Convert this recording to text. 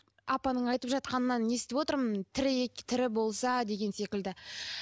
апаның айтып жатқанынан естіп отырмын тірі болса деген секілді